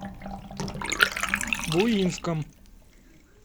буинском